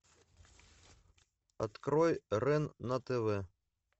открой рен на тв